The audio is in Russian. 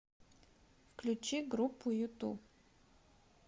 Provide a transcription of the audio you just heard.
включи группу юту